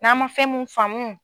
N'an man fɛn mun faamu